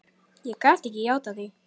Ég gat ekki játað því.